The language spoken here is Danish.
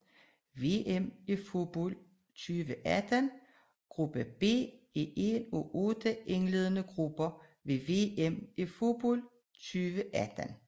VM i fodbold 2018 gruppe B er en af otte indledende grupper ved VM i fodbold 2018